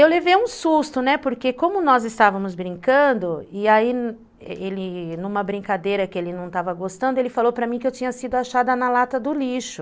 Eu levei um susto, né, porque como nós estávamos brincando, e aí, numa brincadeira que ele não estava gostando, ele falou para mim que eu tinha sido achada na lata do lixo.